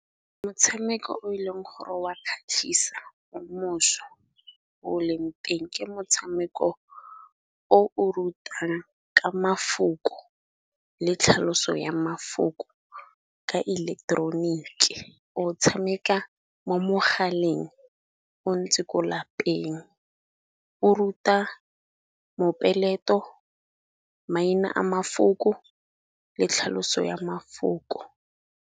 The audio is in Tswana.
Motshameko o e leng gore wa kgatlhisa o leng teng ke motshameko o o rutang ka mafoko le tlhaloso ya mafoko ka ileketeroniki. O tshameka mo mogaleng o ntse ko lapeng, o ruta mopeleto, maina a mafoko le tlhaloso ya mafoko.